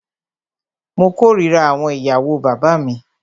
Mó kòrira àwọn ìyàwó bàbá mí.